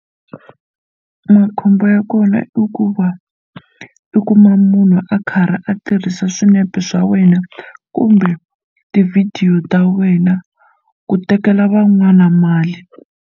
Makhombo ya kona i ku va u kuma munhu a karhi a tirhisa swinepe swa wena kumbe tivhidiyo ta wena ku tekela van'wana mali.